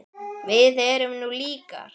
Við erum nú líkar!